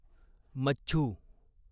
मच्छू